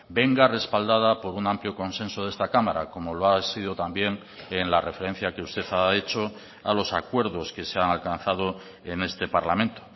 venga respaldada por un amplio consenso de esta cámara como lo ha sido también en la referencia que usted ha hecho a los acuerdos que se han alcanzado en este parlamento